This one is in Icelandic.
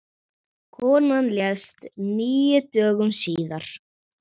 Konan lést níu dögum síðar.